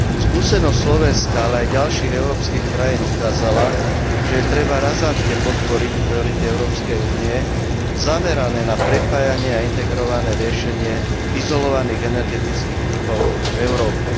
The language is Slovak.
Skúsenosť Slovenska, ale aj ďalších európskych krajín ukázala, že je treba razantne podporiť priority Európskej únie zamerané na prepájanie a integrované riešenie izolovaných energetických trhov v Európe.